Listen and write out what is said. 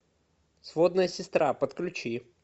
сводная сестра подключи